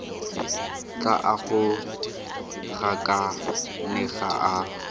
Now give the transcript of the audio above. tla a go gakanega a